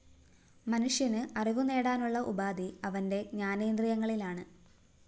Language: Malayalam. മനുഷ്യന് അറിവുനേടാനുള്ള ഉപാധി അവന്റെ ജ്ഞാനേന്ദ്രിയങ്ങളാണ്